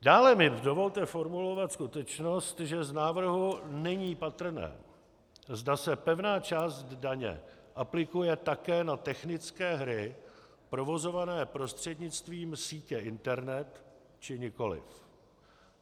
Dále mi dovolte formulovat skutečnost, že z návrhu není patrné, zda se pevná část daně aplikuje také na technické hry provozované prostřednictvím sítě internet, či nikoliv.